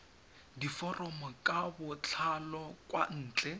diforomo ka botlalo kwa ntle